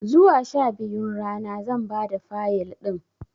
Zuwa sha biyun rana zan bada Fayil ɗin